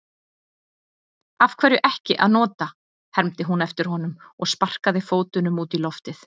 Af hverju ekki að nota, hermdi hún eftir honum og sparkaði fótunum út í loftið.